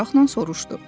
Maraqla soruşdu.